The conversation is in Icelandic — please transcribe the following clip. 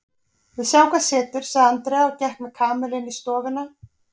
Við sjáum hvað setur sagði Andrea og gekk með Kamillu inn í stofuna.